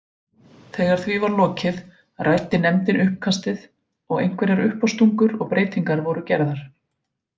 Þegar því var lokið ræddi nefndin uppkastið og einhverjar uppástungur og breytingar voru gerðar.